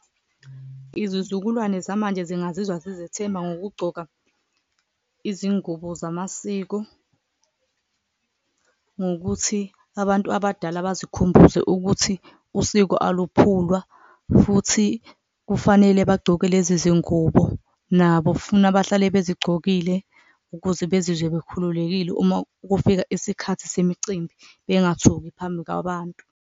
Izizukulwane zamanje zingazizwa zizethemba ngokugcoka izingubo zamasiko, ngokuthi abantu abadala bazikhumbuze ukuthi usiko aluphulwa futhi kufanele bagcoke lezi zingubo nabo. Funa bahlale bezigcokile ukuze bezizwe bekhululekile uma kufika isikhathi semicimbi, bengathuki phambi kwabantu.